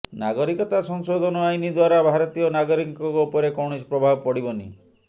ନାଗରିକତା ସଂଶୋଧନ ଆଇନ ଦ୍ୱାରା ଭାରତୀୟ ନାଗରିକଙ୍କ ଉପରେ କୈାଣସି ପ୍ରଭାବ ପଡ଼ିବନି